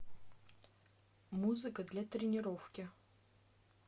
музыка для тренировки